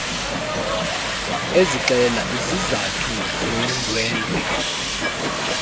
ezixela izizathu zondwendwe